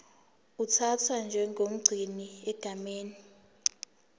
uthathwa njengomgcini egameni